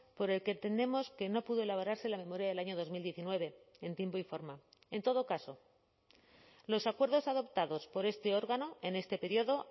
por el que entendemos que no pudo elaborarse la memoria del año dos mil diecinueve en tiempo y forma en todo caso los acuerdos adoptados por este órgano en este periodo